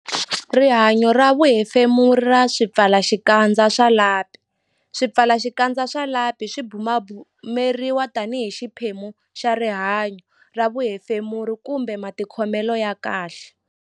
Rihanyo ra vuhefemuri ra swipfalaxikandza swa lapi Swipfalaxikandza swa lapi swi bumabumeriwa tanihi xiphemu xa rihanyo ra vuhefemuri kumbe matikhomelo ya kahle.